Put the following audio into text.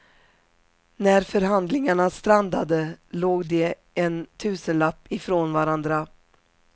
När förhandlingarna strandade låg de en tusenlapp i från varandra.